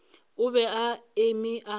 o be a eme a